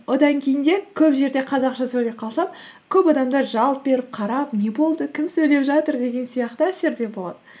одан кейін де көп жерде қазақша сөйлеп қалсам көп адамдар жалт беріп қарап не болды кім сөйлеп жатыр деген сияқты әсерде болады